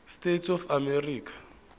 states of america